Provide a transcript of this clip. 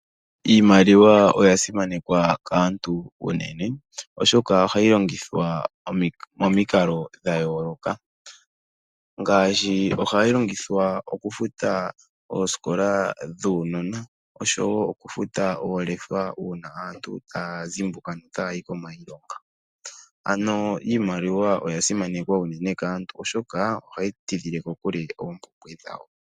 Iimaliwa oya simanekwa kaantu unene oshoka ohayi longithwa momikalo dha yooloka ngaashi oku futa oosikola dhuunona oshowo oku futa oolefa dhaantu shoo taya zimbuka notaya yi kiilonga. Ano iimaliwa oya simanekwa uunene kaantu oshoka ohayi tidhile kokule oompumbwe dhawo